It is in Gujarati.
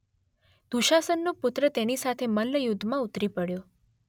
દુશાસનનો પુત્ર તેની સાથે મલ્લયુદ્ધમાં ઉતરી પડ્યો